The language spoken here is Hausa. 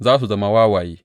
Za su zama wawaye.